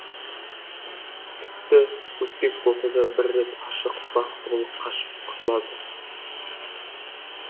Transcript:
тіпті өтпек болса да бір рет ашық бақтығұл қашып құтылады